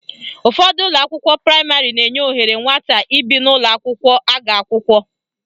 Ụfọdụ ụlọakwụkwọ praịmarị na-enye ohere nwata ibi n'ụlọakwụkwọ aga akwụkwọ